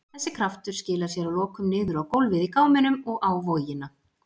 Þessi kraftur skilar sér að lokum niður á gólfið í gáminum og á vogina.